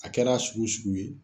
A kɛr'a sugu sugu ye